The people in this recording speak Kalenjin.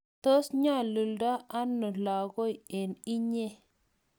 tos nyolundo ano lagoi eng inye?